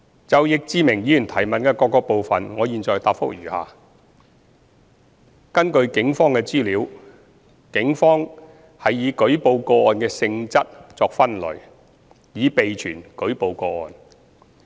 就易志明議員質詢的各個部分，我現答覆如下：一根據警方的資料，警方是以舉報個案的性質作分類，以備存舉報個案。